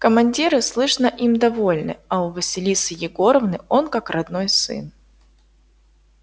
командиры слышно им довольны а у василисы егоровны он как родной сын